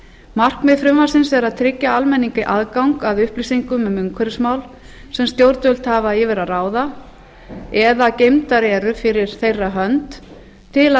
markmið frumvarpsins er að tryggja almenningi aðgang að upplýsingum umhverfismál sem stjórnvöld hafa yfir að ráða eða geymdar eru fyrir þeirra hönd til að